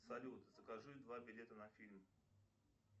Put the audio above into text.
салют закажи два билета на фильм